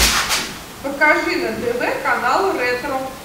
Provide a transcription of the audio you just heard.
покажи на тв канал ретро